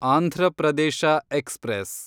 Andhra Pradesh express